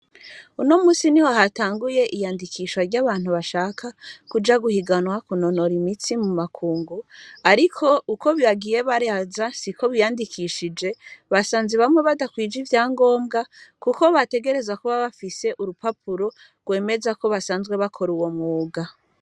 Uno munsi niho hatanguye iyandikiswha ry'abantu bashaka kuja guhiganwa kunonora imitsi mu makungu ariko uko bagiye baraza si uko biyandikishije basanze bamwe badakwije ivy’angobwa kuko bategerezwa kuba bafise urupapuro rwemeza ko basanzwe bakora uwo mwuga.